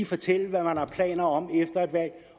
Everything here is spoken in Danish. fortælle hvad man har planer om efter et valg